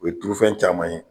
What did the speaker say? O ye turufɛn caman ye